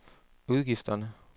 udgifterne